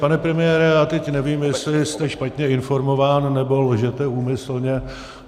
Pane premiére, já teď nevím, jestli jste špatně informován, nebo lžete úmyslně.